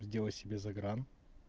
сделать себе загран